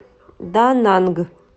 дананг